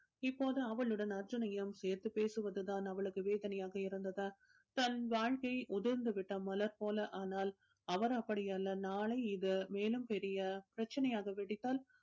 இப்போது அவளுடன் அர்ஜுனையும் சேர்த்து பேசுவதுதான் அவளுக்கு வேதனையாக இருந்ததா தன் வாழ்க்கை உதிர்ந்து விட்ட மலர் போல ஆனால் அவர் அப்படி அல்ல நாளை இது மேலும் பெரிய பிரச்சனையாக வெடித்தால்